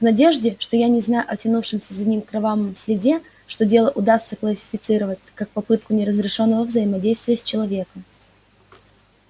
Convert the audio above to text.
в надежде что я не знаю о тянущемся за ним кровавом следе что дело удастся классифицировать как попытку неразрешённого взаимодействия с человеком